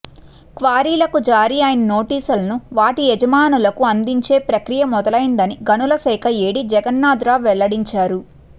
క్వారీలకు జారీ అయిన నోటీసులను వాటి యజమానులకు అందించే ప్రక్రియ మొదలయిందని గనుల శాఖ ఏడీ జగన్నాథరావు వెల్లడించారు